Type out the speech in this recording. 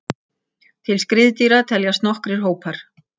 Til skriðdýra teljast nokkrir hópar.